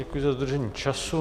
Děkuji za dodržení času.